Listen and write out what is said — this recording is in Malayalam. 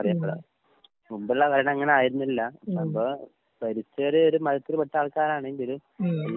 ഉം ഉം ഉം.